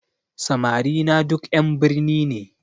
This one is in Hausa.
Samari na duk ƴan birni ne